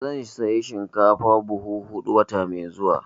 Zan saya shinkafa buhu huɗu wata mai zuwa.